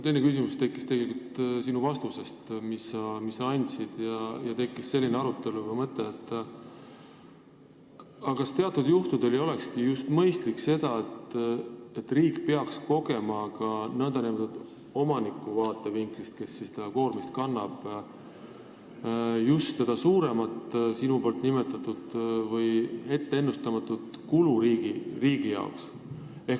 Teine küsimus tekkis mul sinu vastuse peale ja tuli selline mõte, et kas teatud juhtudel ei olekski mõistlik just see, et riik peaks kogema ka n-ö omaniku vaatevinklist, kes seda koormist kannab, just seda sinu nimetatud suuremat või ennustamatut kulu riigi jaoks.